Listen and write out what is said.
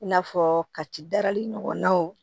I n'a fɔ ka ci darali ɲɔgɔnnaw